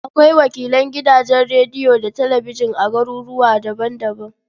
Akwai wakilan gidajen rediyo da talabijin a garuruwa daban-daban.